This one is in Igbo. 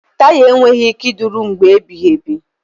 Taya enweghị ike ịdịru mgbe ebighị ebi.